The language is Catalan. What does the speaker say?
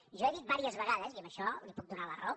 jo he dit diverses vegades i en això li puc donar la raó